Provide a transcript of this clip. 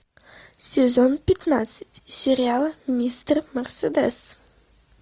сезон пятнадцать сериала мистер мерседес